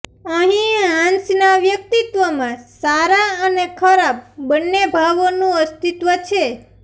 અહીં હાન્સના વ્યક્તિત્વમાં સારા અને ખરાબ બંને ભાવોનું અસ્તિત્વ છે